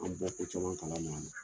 An bɛ ko caman kalama a la.